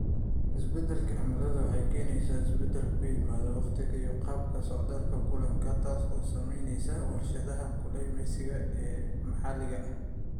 Isbeddelka cimiladu waxay keenaysaa isbeddel ku yimaada waqtiga iyo qaababka socdaalka kalluunka, taas oo saameynaysa warshadaha kalluumeysiga ee maxalliga ah.